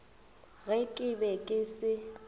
ge ke be ke se